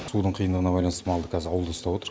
судың қиындығына байланысты малды кәз ауылда ұстап отыр